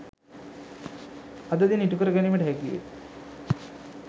අද දින ඉටු කර ගැනීමට හැකිවේ.